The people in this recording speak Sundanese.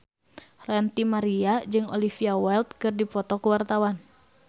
Ranty Maria jeung Olivia Wilde keur dipoto ku wartawan